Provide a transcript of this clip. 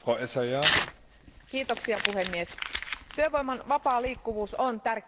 Arvoisa puhemies, työvoiman vapaa liikkuvuus on tärkeä perusperiaate.